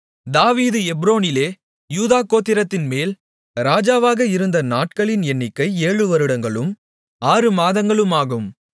தாவீது எப்ரோனிலே யூதா கோத்திரத்தின்மேல் ராஜாவாக இருந்த நாட்களின் எண்ணிக்கை ஏழு வருடங்களும் ஆறு மாதங்களும் ஆகும்